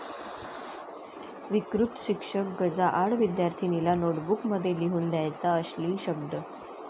विकृत शिक्षक गजाआड, विद्यार्थिनीला नोटबुकमध्ये लिहून द्यायचा अश्लिल शब्द